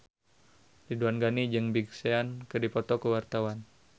Ridwan Ghani jeung Big Sean keur dipoto ku wartawan